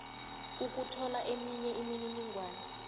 ukuthola eminye imininingwana